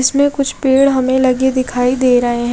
इसमें कुछ पेड़ हमे लगे दिखाई दे रहे है।